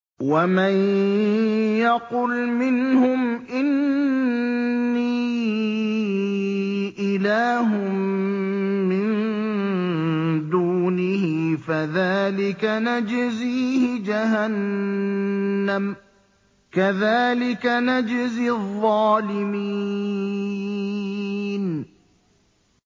۞ وَمَن يَقُلْ مِنْهُمْ إِنِّي إِلَٰهٌ مِّن دُونِهِ فَذَٰلِكَ نَجْزِيهِ جَهَنَّمَ ۚ كَذَٰلِكَ نَجْزِي الظَّالِمِينَ